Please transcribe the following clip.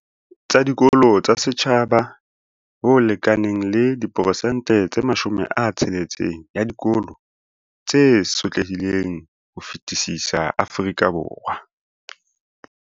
Tsa dikolo tsa setjhaba, ho lekanang le 60 percent ya dikolo tse sotlehileng ho fetisisa Afrika Borwa.